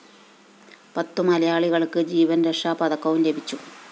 പത്തു മലയാളികള്‍ക്ക് ജീവന്‍രക്ഷാപതക്കവും ലഭിച്ചു